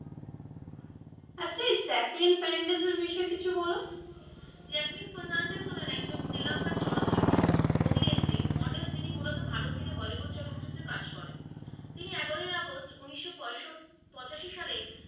Jacqueline Fernandez এর বিষয়ে কিছু বলো। জ্যাকলিন ফার্নান্দেজ হলেন একজন শ্রীলঙ্কান চলচ্চিত্র অভিনেত্রী model যিনি মূলত ভারতে থেকে বলিউড চলচ্চিত্রে কাজ করেন। তিনি এগারোই আগস্ট উনিশশো পঁচাশী সালে,